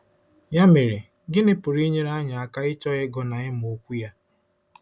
Ya mere, gịnị pụrụ inyere anyị aka ịchọ ịgụ na ịmụ Okwu ya?